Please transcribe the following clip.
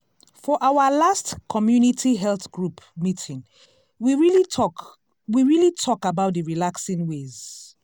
for our last community health group meeting we really talk we really talk about d relaxing ways.